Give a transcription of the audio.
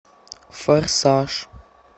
форсаж